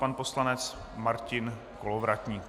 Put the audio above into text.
Pan poslanec Martin Kolovratník.